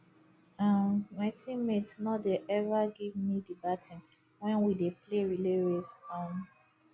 um my teammates no dey ever give me the baton wen we dey play relay race um